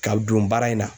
Ka don baara in na